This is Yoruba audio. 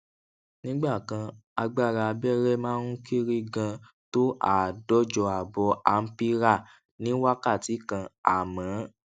nígbà kan agbára abéré máa ń kéré ganan tó àádójọ ààbò ampérà ní wákàtí kan àmó